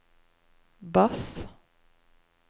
bass